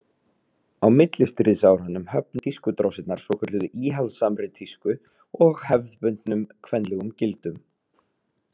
Á millistríðsárunum höfnuðu tískudrósirnar svokölluðu íhaldssamri tísku og hefðbundnum kvenlegum gildum.